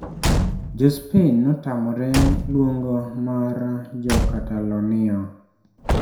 Jo Spain notamore luong mar jo Catalonia